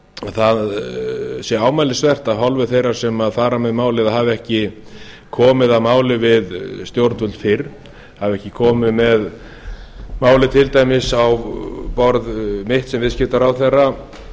það sé ámælisvert af hálfu þeirra sem fara með málið að hafa ekki komið að máli við stjórnvöld fyrr hafa ekki komið með málið til dæmis á borð mitt sem viðskiptaráðherra